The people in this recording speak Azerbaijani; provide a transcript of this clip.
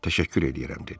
Təşəkkür edirəm dedi.